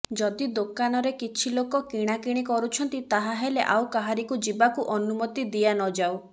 ଯଦି ଦୋକନରେ କିଛି ଲୋକ କିଣାକିଣ କରୁଛନ୍ତି ତାହାହେଲେ ଆଉ କାହାରିକୁ ଯିବାକୁ ଅନୁମତି ଦିଆନଯାଉ